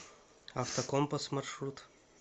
автокомпас маршрут